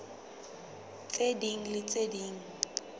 tse ding le tse ding